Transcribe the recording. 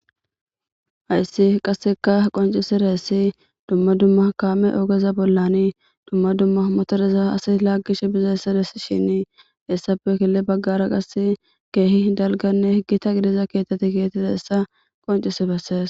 Hayssi qasekka qonccisizayssi dumma dumma kaame oogeza bollan dumma dumma motoreza asay laagishe bizayssa besishin hessappe guye baggara qase keehi dalgganne gita gidiza keththati kexetizayssa qonccishi beses